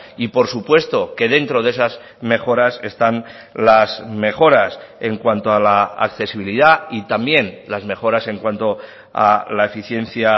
y por supuesto que dentro de esas mejoras están las mejoras en cuanto a la accesibilidad y también las mejoras en cuanto a la eficiencia